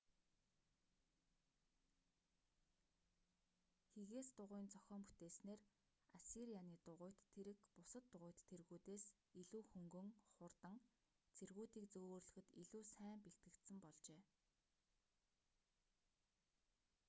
хигээс дугуйн зохион бүтээснээр ассирианы дугуйт тэрэг бусад дугуйт тэргүүдээс илүү хөнгөн хурдан цэргүүдийг зөөвөрлөхөд илүү сайн бэлтгэгдсэн болжээ